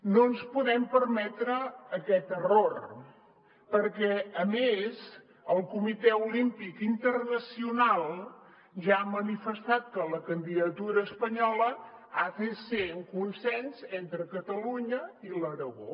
no ens podem permetre aquest error perquè a més el comitè olímpic internacional ja ha manifestat que la candidatura espanyola ha de ser amb consens entre catalunya i l’aragó